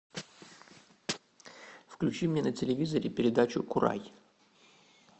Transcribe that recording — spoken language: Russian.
включи мне на телевизоре передачу курай